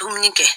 Dumuni kɛ